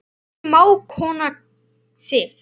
Þín mágkona Sif.